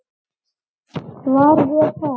Var ég það?